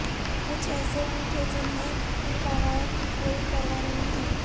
کچھ ایسے بھی تھے جنھیں ان قواعد کی کوئی پروا نہیں تھی